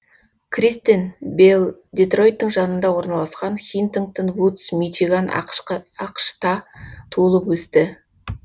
кристен белл детройттың жанында орналасқан хинтингтон вудс мичиган ақш та туылып өсті